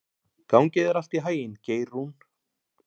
Gangi þér allt í haginn, Geirrún.